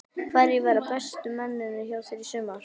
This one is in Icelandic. Hverjir verða bestu mennirnir hjá þér í sumar?